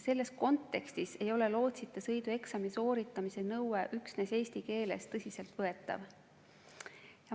Selles kontekstis ei ole nõue, et lootsita sõidu eksam tuleb teha kindlasti eesti keeles, tõsiselt võetav.